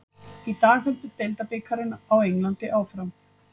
Í dag heldur deildabikarinn á Englandi áfram.